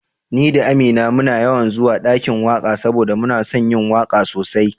Ni da Amina muna yawan zuwa ɗakin waka saboda muna son yin waka sosai